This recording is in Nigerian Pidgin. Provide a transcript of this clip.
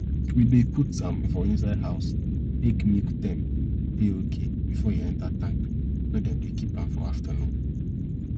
we dey put am for inside house make milk temp dey okay before e enter tank wey dem dey keep am for aftanun